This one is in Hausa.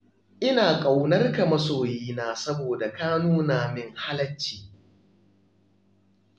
Ina matuƙar ƙaunar ka masoyina saboda ka nuna min halacci.